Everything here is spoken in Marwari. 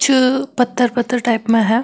चु पत्थर पत्थर टाइप में है।